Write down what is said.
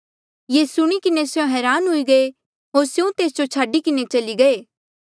ये सुणी किन्हें स्यों हरान हुए होर स्यों तेस जो छाडी किन्हें चली गये